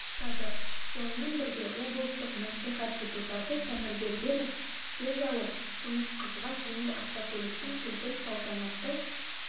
жасады сонымен бірге облыстық мәслихат депутаты тәңірбергенов сөз алып күміс қызға жеңіл автокөліктің кілтін салтанатты